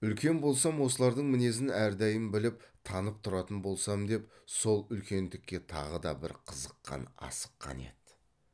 үлкен болсам осылардың мінезін әрдайым біліп танып тұратын болсам деп сол үлкендікке тағы да бір қызыққан асыққан еді